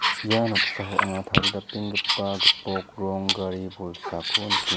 ia noksao anga taridapenggipa gipok rong gari bolsako nike--